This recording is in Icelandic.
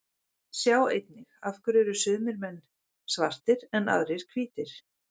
Sjá einnig: Af hverju eru sumir menn svartir en aðrir hvítir?